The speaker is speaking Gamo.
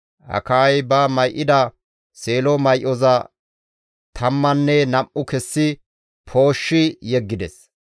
Akayay ba may7ida seelo may7oza tammanne nam7u kessi pooshshi yeggides.